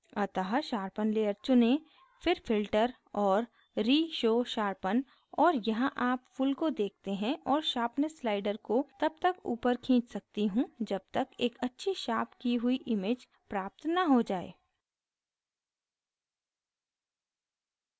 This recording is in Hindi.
अतः sharpen layer चुनें फिर filter और reshow sharpen और यहाँ आप pull को देखते हैं और sharpness slider को तब तक ऊपर खींच सकती हूँ जब तक एक अच्छी sharpen की हुई image प्राप्त न हो जाये